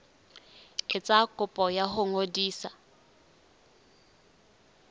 etsa kopo ya ho ngodisa